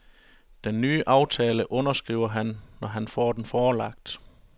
Den nye aftale underskriver han, når han får den forelagt.